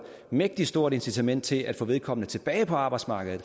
mægtig stort incitament til at få vedkommende tilbage på arbejdsmarkedet